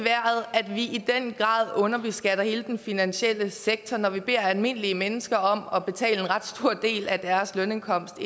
at vi i den grad underbeskatter hele den finansielle sektor når vi beder almindelige mennesker om at betale en ret stor del af deres lønindkomst